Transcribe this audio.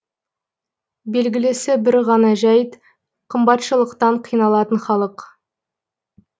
белгілісі бір ғана жайт қымбатшылықтан қиналатын халық